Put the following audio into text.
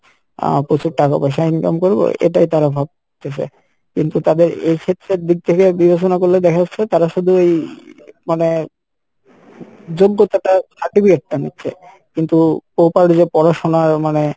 আহ প্রচুর টাকা পয়সা income করবো এটাই তারা ভাবতেছে কিন্তু তাদের এইক্ষেত্রের দিক থেকে বিবেচনা করলে দেখা যাচ্ছে তারা শুধু এই মানে যোগ্যতা টা certificate টা নিচ্ছে কিন্তু proper যে পড়াশোনার মানে